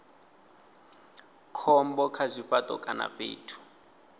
khombo kha zwifhato kana fhethu